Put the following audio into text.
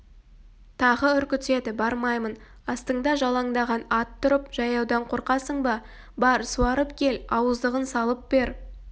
тағы үркітеді бармаймын астыңда жалаңдаған ат тұрып жаяудан қорқасың ба бар суарып кел ауыздығын салып бер